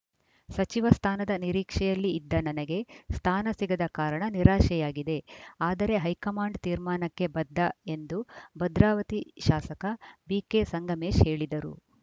ಸಚಿವ ಸ್ಥಾನದ ನಿರೀಕ್ಷೆಯಲ್ಲಿ ಇದ್ದ ನನಗೆ ಸ್ಥಾನ ಸಿಗದ ಕಾರಣ ನಿರಾಶೆಯಾಗಿದೆ ಆದರೆ ಹೈಕಮಾಂಡ್‌ ತೀರ್ಮಾನಕ್ಕೆ ಬದ್ಧ ಎಂದು ಭದ್ರಾವತಿ ಶಾಸಕ ಬಿಕೆ ಸಂಗಮೇಶ್‌ ಹೇಳಿದರು